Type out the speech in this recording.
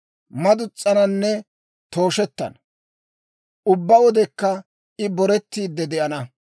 Madus's'ananne tooshetana. Ubbaa wodekka I boretiide de'ana.